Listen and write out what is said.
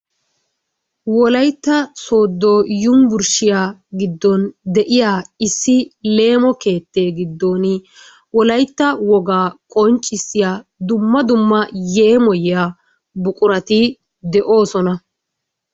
Wolaytta soodo yunbburssiya giddon de'iya issi leemo keettee giddon wolaytta wogaa qonccissiya dumma dumma yeemoyiya buqurati de'oosona.